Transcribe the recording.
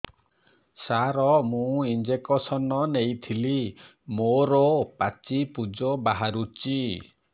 ସାର ମୁଁ ଇଂଜେକସନ ନେଇଥିଲି ମୋରୋ ପାଚି ପୂଜ ବାହାରୁଚି